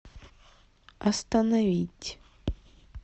остановить